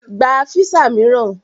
Gba físà mìíràn!